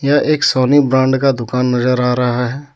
यह एक Sony brand का दुकान नज़र आ रहा है.